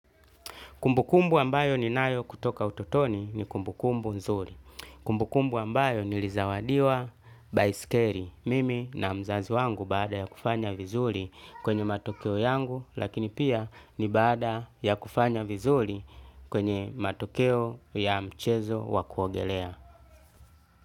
Kumbukumbu ambayo ni nayo kutoka utotoni ni kumbukumbu nzuri. Kumbukumbu ambayo nilizawadiwa baiskeli mimi na mzazi wangu baada ya kufanya vizuri kwenye matokeo yangu lakini pia ni baada ya kufanya vizuri kwenye matokeo ya mchezo wa kuogelea.